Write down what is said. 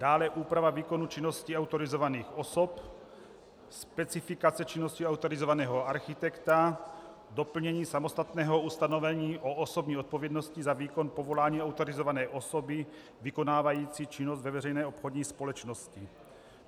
Dále, úprava výkonu činnosti autorizovaných osob, specifikace činnosti autorizovaného architekta, doplnění samostatného ustanovení o osobní odpovědnosti za výkon povolání autorizované osoby vykonávající činnost ve veřejné obchodní společnosti.